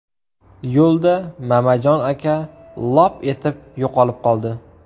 Yo‘lda Mamajon aka lop etib yo‘qolib qoldi.